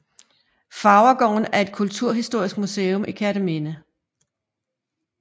Farvergården er et kulturhistorisk museum i Kerteminde